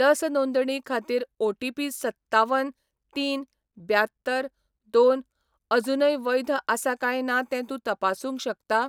लस नोंदणी खातीर ओटीपी सत्तावन तीन ब्यात्तर दोन अजूनय वैध आसा काय ना तें तूं तपासूंक शकता?